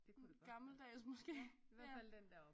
Gammeldags måske